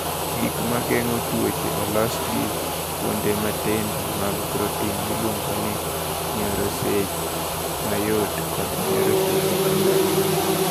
"Gik ma geng’o tuoche olosi gi kuonde matindo mag protin miluongo ni nyoroche mayot kod nyoroche mapek."